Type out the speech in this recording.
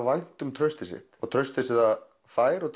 vænt um traustið sitt traust sem það fær og